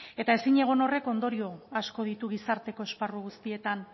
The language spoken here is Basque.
eta ezin egon horrek ondorio asko ditu gizarteko esparru guztietan